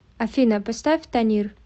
афина поставь танир